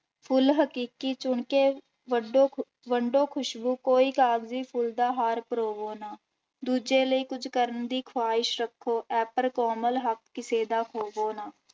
ਫੁੱਲ ਹਕੀਕੀ ਚੁਣਕੇੇ ਵੱਡੋ ਵੰਡੋ ਖ਼ੁਸ਼ਬੂ, ਕੋਈ ਕਾਗਜੀ ਫੁਲ ਦਾ ਹਾਰ ਪਰੋਵੋ ਨਾ, ਦੂਜੇ ਲਈ ਕੁੱਝ ਕਰਨ ਦੀ ਖੁਹਾਇਸ਼ ਰੱਖੋ ਐਪਰ ਕੋਮਲ ਹੱਕ ਕਿਸੇ ਦਾ ਖੋਵੋ ਨਾ।